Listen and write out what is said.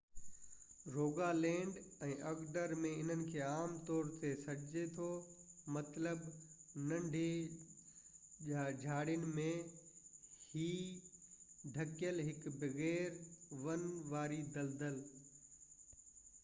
Rogaland ۽ Agder ۾ انهن کي عام طور تي hei سڏجي ٿو مطلب ننڍي جهاڙين ۾ ڍڪيل هڪ بغير ون واري دَلدَل